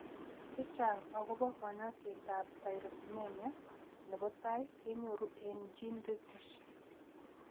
Chechang' akobo kanyoisetab Tyrosinemia nebo tai kenyoru eng' GeneReviews.